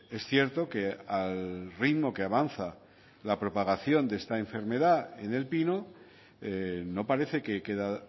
es cierto que al ritmo que avanza la propagación de esta enfermedad en el pino no parece que queda